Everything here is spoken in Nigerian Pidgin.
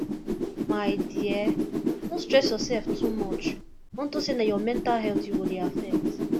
my dear no stress yourself too much unto say na your mental health you go dey affect